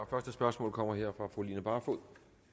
første spørgsmål kommer her fra fru line barfod